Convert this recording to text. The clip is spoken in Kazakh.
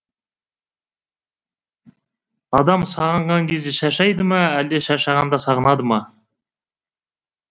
адам сағынған кезде шаршайды ма әлде шаршағанда сағынады ма